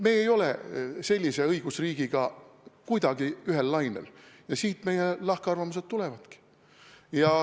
Meie ei ole sellise õigusriigiga kuidagi ühel lainel ja siit meie lahkarvamused tulevadki.